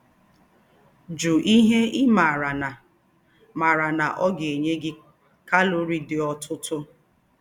Jụ́ íhe ị́ mààrà nà mààrà nà ọ̀ gà-ènyé gí kálórìé díí òtụ́tụ́